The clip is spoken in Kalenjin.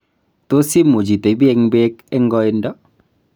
tos imuch itebi eng' beek eng' koindo?